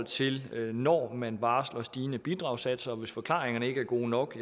til når man varsler stigende bidragssatser hvis forklaringerne ikke er gode nok